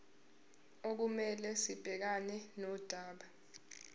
okumele sibhekane nodaba